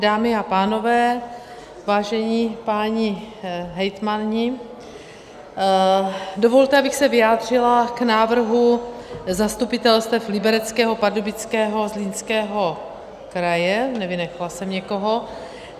Dámy a pánové, vážení páni hejtmani, dovolte, abych se vyjádřila k návrhu zastupitelstev Libereckého, Pardubického, Zlínského kraje - nevynechala jsem někoho?